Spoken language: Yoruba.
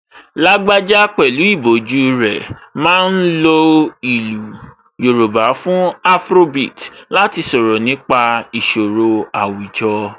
Lágbájá pẹ̀lú ìbòjú rẹ̀ ma ń lo ìlú Yorùbá fún afrobeat láti sọ̀rọ̀ nípa ìṣòro àwùjọ